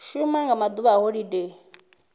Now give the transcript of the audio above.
shuma nga maḓuvha a holodeni